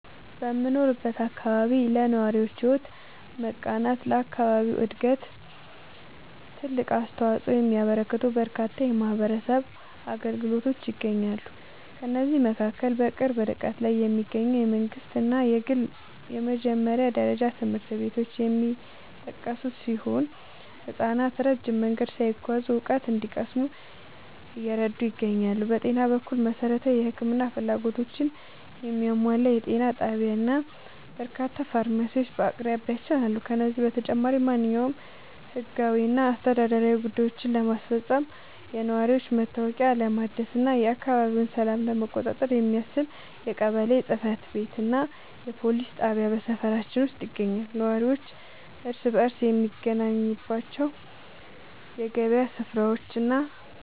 በምኖርበት አካባቢ ለነዋሪዎች ሕይወት መቃናትና ለአካባቢው ዕድገት ትልቅ አስተዋፅኦ የሚያበረክቱ በርካታ የማኅበረሰብ አገልግሎቶች ይገኛሉ። ከእነዚህም መካከል በቅርብ ርቀት ላይ የሚገኙ የመንግሥትና የግል የመጀመሪያ ደረጃ ትምህርት ቤቶች የሚጠቀሱ ሲሆን፣ ሕፃናት ረጅም መንገድ ሳይጓዙ እውቀት እንዲቀስሙ እየረዱ ይገኛሉ። በጤና በኩል፣ መሠረታዊ የሕክምና ፍላጎቶችን የሚያሟላ ጤና ጣቢያና በርካታ ፋርማሲዎች በአቅራቢያችን አሉ። ከዚህም በተጨማሪ፣ ማንኛውንም ሕጋዊና አስተዳደራዊ ጉዳዮችን ለማስፈጸም፣ የነዋሪነት መታወቂያ ለማደስና የአካባቢውን ሰላም ለመቆጣጠር የሚያስችል የቀበሌ ጽሕፈት ቤትና የፖሊስ ጣቢያ በሰፈራችን ውስጥ ይገኛሉ። ነዋሪው እርስ በርስ የሚገናኝባቸው የገበያ ሥፍራዎችና